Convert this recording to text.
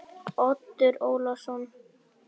Oddur Ólason.